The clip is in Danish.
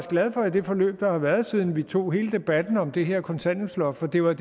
glad for det forløb der har været siden vi tog hele debatten om det her kontanthjælpsloft for det var